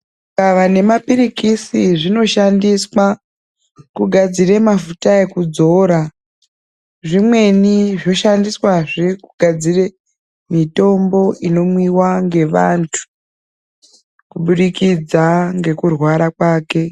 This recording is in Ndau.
Gavakava nemapirikisi zvinoshandiswa kugadzire mafuta ekudzora. Zvimweni zvoshandiswazve kugadzire mitombo inomwiva ngevantu, kubudikidza ngekurwara kwake.